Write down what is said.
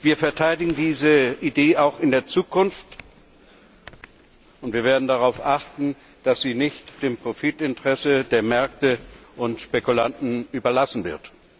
Wir verteidigen diese Idee auch in der Zukunft, und wir werden darauf achten, dass sie nicht dem Profitinteresse der Märkte und Spekulanten überlassen wird.